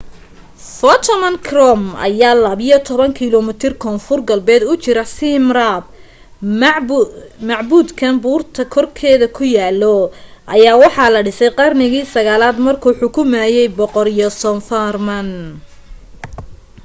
phnom krom ayaa 12 kiloomiitar koonfur galbeed u jiraa siem reap macbudkan buurta korkeeda ku yaalo ayaa waxaa la dhisay qarniga 9aad markuu xukumaayay boqor yasovarman